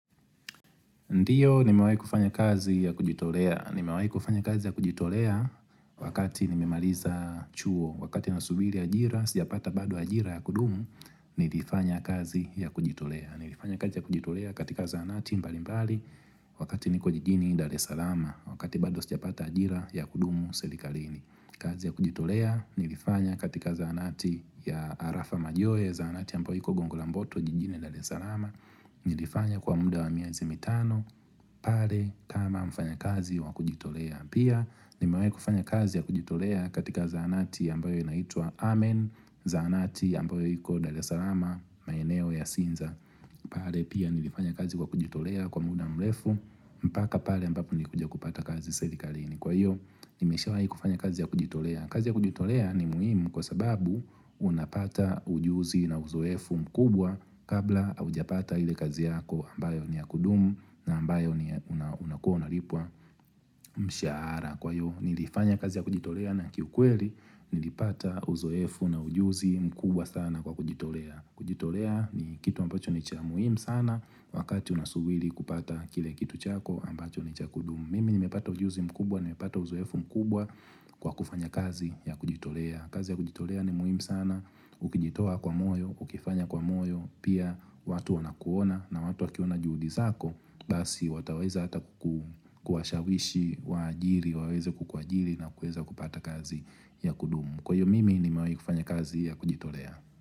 Ndiyo, nimewahi kufanya kazi ya kujitolea. Nimewahi kufanya kazi ya kujitolea wakati nimemaliza chuo. Wakati na subiri ajira, sijapata bado ajira ya kudumu, nilifanya kazi ya kujitolea. Nilifanya kazi ya kujitolea katika zahanati mbali mbali wakati niko jijini dare salama. Wakati bado sijapata ajira ya kudumu serikalini. Kazi ya kujitolea, nilifanya katika zahanati ya arafa majoeza, zahanati ambayo iko gongo lamboto, jijini dare salama. Nilifanya kwa muda wa miezi mitano pale kama mfanya kazi wa kujitolea Pia nimewai kufanya kazi ya kujitolea katika zahanati ambayo inaitwaa hamen Zahanati ambayo iko dale salama maeneo ya sinza pale pia nilifanya kazi kwa kujitolea kwa muda mrefu mpaka pale ambapo nilikuja kupata kazi selikalini Kwa hiyo nimeshawahi kufanya kazi ya kujitolea kazi ya kujitolea ni muhimu kwa sababu unapata ujuzi na uzoefu mkubwa Kabla haujapata ile kazi yako ambayo ni ya kudumu na ambayo unakuwa unalipwa mshahara Kwa hiyo nilifanya kazi ya kujitolea na kiukweli nilipata uzoefu na ujuzi mkubwa sana kwa kujitolea kujitolea ni kitu ambacho ni cha muhimu sana wakati unasubiri kupata kile kitu chako ambacho ni cha kudumu Mimi nimepata ujuzi mkubwa nimepata uzoefu mkubwa kwa kufanya kazi ya kujitolea kazi ya kujitolea ni muhimu sana, ukijitoa kwa moyo, ukifanya kwa moyo, pia watu wana kuona na watu wakiona juhudi zako, basi wataweza hata ku kuwashawishi waajiri, wawaze kukua ajiri na kuweza kupata kazi ya kudumu Kwayo mimi ni mewai kufanya kazi ya kujitolea.